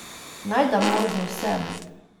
Naj da možnost sebi.